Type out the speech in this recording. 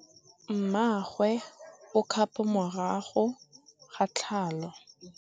Mmagwe o kgapô morago ga tlhalô.